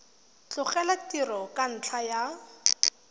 tlogela tiro ka ntlha ya